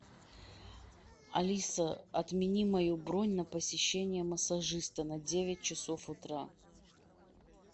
алиса отмени мою бронь на посещение массажиста на девять часов утра